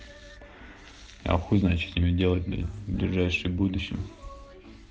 а хуй знает что тебе делать блять в ближайшем будущем